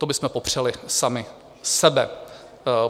To bychom popřeli sami sebe.